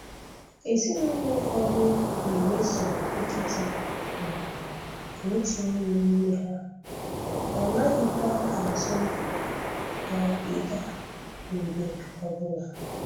Ezinụlọ ụfọdụ na-emeso nkịta omume ka otu onye n'ime ha, ha anaghịkwa atụ ya ịga mgbe ọbụla